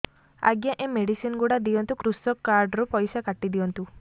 ଆଜ୍ଞା ଏ ମେଡିସିନ ଗୁଡା ଦିଅନ୍ତୁ କୃଷକ କାର୍ଡ ରୁ ପଇସା କାଟିଦିଅନ୍ତୁ